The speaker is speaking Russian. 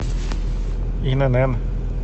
инн